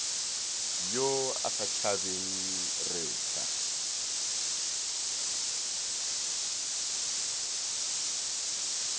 yo a sa tšhabeng retha